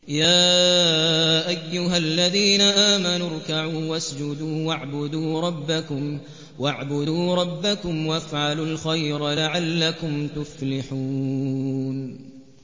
يَا أَيُّهَا الَّذِينَ آمَنُوا ارْكَعُوا وَاسْجُدُوا وَاعْبُدُوا رَبَّكُمْ وَافْعَلُوا الْخَيْرَ لَعَلَّكُمْ تُفْلِحُونَ ۩